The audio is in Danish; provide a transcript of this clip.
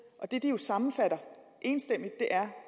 og det de jo sammenfatter enstemmigt er